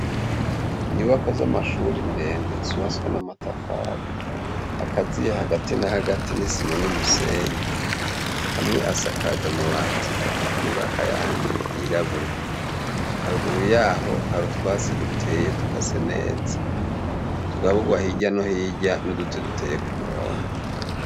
Inyubakwa z 'amashure ndende z' ubatswe n' amatafar' akaziye hagati na hagati n' isima n' umusenyi, amw' asakajw' amabat' atukura, ayandi yirabura, haruguru yaho har'utwatsi duteye dukase neza, tugabugwa hirya no hino n' uduti duteye k'umurongo.